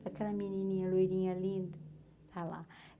Aquela menininha loirinha linda, está lá.